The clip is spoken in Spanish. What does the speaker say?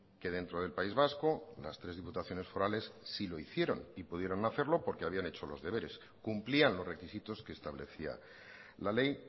que dentro del país vasco las tres diputaciones forales sí lo hicieron y pudieron hacerlo porque habían hecho los deberes cumplían los requisitos que establecía la ley